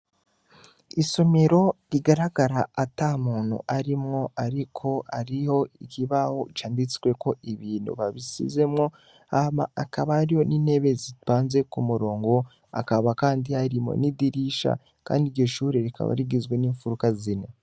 Isomero rigaragara ata muntu arimwo ariko hariho ikibaho canditsweko ibintu babisizemwo, hama hakaba hariho n'intebe zipanze ku murongo, hakaba kandi harimwo n'idirisha, kandi iryo shure rikaba rigizwe n'imfuruka zine.